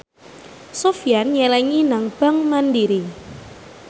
Sofyan nyelengi nang bank mandiri